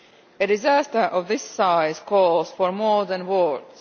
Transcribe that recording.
A disaster of this size calls for more than words.